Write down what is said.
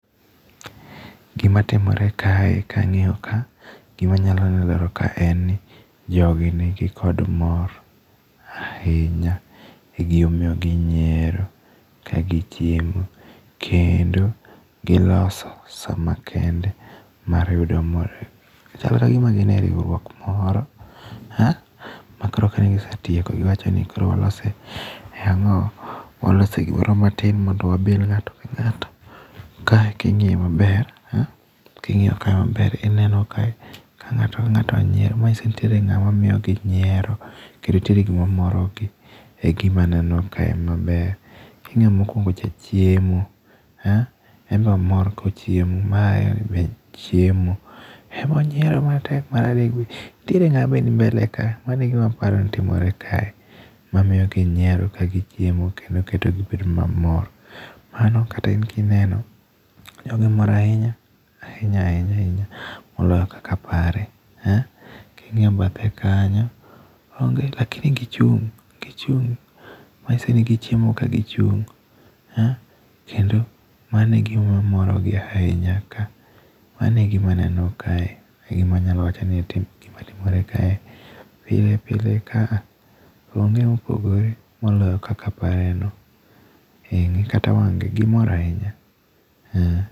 Gima timore kae kang'iyo ka, gima anyalo lero ka en ni jogi nigi kod mor ahinya. E gima omiyo ginyiero ka gichiemo. Kendo giloso sa makende mar yudo mor. Chal kagima gin e riwruok moro ma koro ka ne gisetieko giwacho ni koro walose, e ang'owa, walose gimoro matin mondo wabil ng'ato ka ng'ato. Kae king'iyo maber, king'iyo kae maber, ineno kae ka ng'ato ka ng'ato nyiero. Manyiso ni nitiere ng'at ma miyo gi nyiero kendo nitiere gima moro gi. Egima aneno kae maber. King'iyo mokuongo cha chiemo. En be omor kochiemo. Mar ariyo ni be chiemo. En be onyiero matek. Mar adek be. Nitiere ng'a bende ni mbele ka. Mano e gima aparo ni timore kae. Mamiyo gi nyiero ka gichiemo kendo keto gibedo mamor. Mano kata in kineno, jogi mor ahinya. Ahinya ahinya ahinya. Moloyo kaka apare. King'iyo bathe kanyo, onge lakini gichung', gichung'. Manyiso ni gichiemo ka gichung'. Kendo mano e gima moro gi ahinya ka. Mano e gima aneno kae. E gima anyalo wacho ni ati gima timore kae. Pile pile kaa, onge mopogore moloyo kaka apare no. Ng'i kata wang' gi. Gimor ahinya.